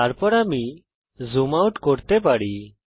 তারপর আমি zoom out করতে পারি